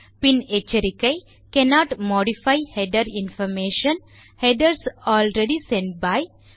பின் எச்சரிக்கை cannot modify header information - headers already sent by